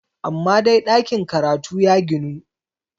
amma dai ɗakin karatu ya ginu!